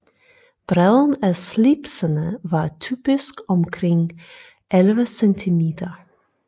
Bredden af slipsene var typisk omkring 11 cm